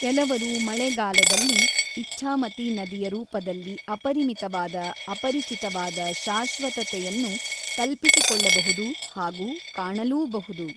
ಕೆಲವರು ಮಳೆಗಾಲದಲ್ಲಿ ಇಚ್ಛಾಮತಿ ನದಿಯ ರೂಪದಲ್ಲಿ ಅಪರಿಮಿತವಾದ ಅಪರಿಚಿತವಾದ ಶಾಶ್ವತತೆಯನ್ನು ಕಲ್ಪಿಸಿಕೊಳ್ಳಬಹುದು ಹಾಗು ಕಾಣಲೂಬಹುದು.